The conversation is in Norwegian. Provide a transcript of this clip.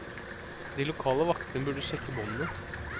De lokale vaktene burde sjekke båndene.